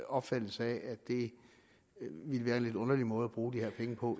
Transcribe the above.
opfattelse af at det ville være en lidt underlig måde at bruge de her penge på